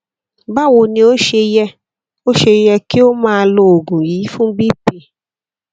báwo ni ó ṣe yẹ ó ṣe yẹ kí o máa lo oògùn yìí fún bp